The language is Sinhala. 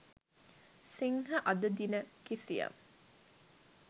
සිංහ අද දින කිසියම්